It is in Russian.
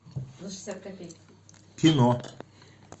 кино